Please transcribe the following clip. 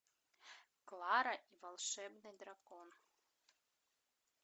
клара и волшебный дракон